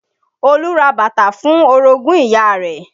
Olú ra bàtà fún orogún ìyá rẹ̀